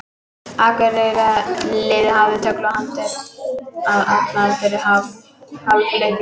Akureyrarliðið hafði tögl og haldir allan fyrri hálfleikinn.